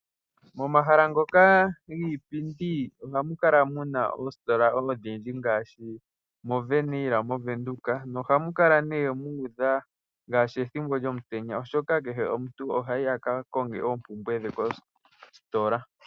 Momahala ngoka giipindi ohamu kala mu na oositola ondhindji ngaashi moWernhil mOvenduka nohamu kala nduno mu udha ngaashi ethimbo lyomutenya, oshoka kehe omuntu ohayi a ka konge oompumbwe dhe koositola.